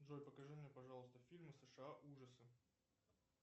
джой покажи мне пожалуйста фильмы сша ужасы